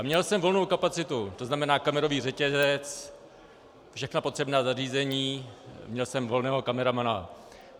A měl jsem volnou kapacitu, to znamená kamerový řetězec, všechna potřebná zařízení, měl jsem volného kameramana.